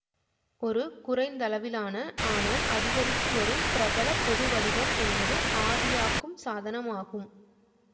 ஒரு குறைந்தளவிலான ஆனால் அதிகரித்துவரும் பிரபல பொதுவடிவம் என்பது ஆவியாக்கும் சாதனமாகும்